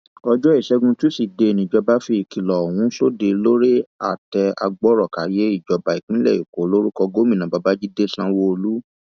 ọjọ ìṣẹgun tusidee níjọba fi ìkìlọ ọhún sóde lórí àtẹ agbọrọkàyé ìjọba ìpínlẹ èkó lórúkọ gómìnà babàjídé sanwóolu